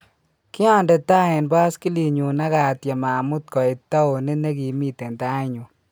Kyandee tai en baskiliinyun akatyem amuut koit towunit nekimiten tai nyun